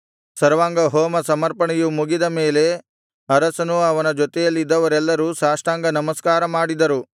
ಸರ್ವಾಂಗಹೋಮ ಸಮರ್ಪಣೆಯು ಮುಗಿದ ಮೇಲೆ ಅರಸನೂ ಅವನ ಜೊತೆಯಲ್ಲಿದ್ದವರೆಲ್ಲರೂ ಸಾಷ್ಟಾಂಗ ನಮಸ್ಕಾರ ಮಾಡಿದರು